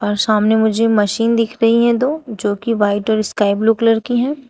और सामने मुझे मशीन दिख रही है दो जो कि व्हाइट और स्काई ब्लू कलर की है।